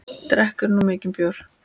Drekkur þú mikinn bjór?